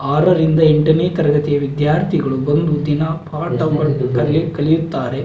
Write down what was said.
ಆರರಿಂದ ಎಂಟನೆ ತರಗತಿಯ ವಿದ್ಯಾರ್ಥಿಗಳು ಬಂದು ದಿನ ಪಾಟ ಮಾಡುತ್ತಾರೆ ಕಲಿಯುತ್ತಾರೆ.